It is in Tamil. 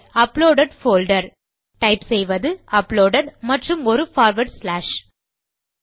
அப்லோடெட் போல்டர் டைப் செய்வது அப்லோடெட் மற்றும் ஒரு பார்வார்ட் ஸ்லாஷ்